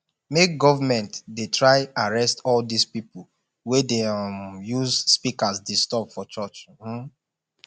make govament dey try arrest all dose pipol wey dey um use speakers disturb for church um